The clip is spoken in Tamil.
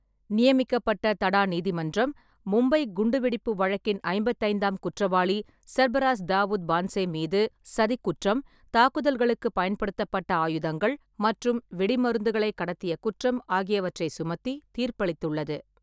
நியமிக்கப்பட்ட தடா நீதிமன்றம் மும்பை குண்டுவெடிப்பு வழக்கின் ஐம்பத்தைந்தாம் குற்றவாளி சர்பராஸ் தாவூத் பான்சே மீது சதிக் குற்றம், தாக்குதல்களுக்குப் பயன்படுத்தப்பட்ட ஆயுதங்கள் மற்றும் வெடிமருந்துகளை கடத்திய குற்றம் ஆகியவற்றை சுமத்தி தீர்ப்பளித்துள்ளது.